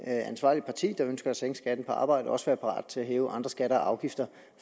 ansvarligt parti der ønsker at sænke skatten på arbejde også skal være parat til at hæve andre skatter og afgifter